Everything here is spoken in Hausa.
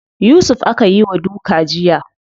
Yusuf aka yi wa duka jiya.